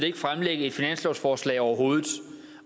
ikke fremlægge et finanslovsforslag overhovedet